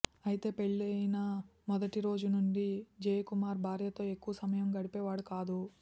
అయితే పెళ్లయిన మొదటి రోజు నుంచి జయకుమార్ భార్యతో ఎక్కువ సమయం గడిపేవాడు కాదు